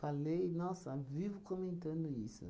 nossa, vivo comentando isso.